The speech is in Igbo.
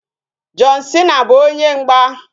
John Cena bụ onye mgba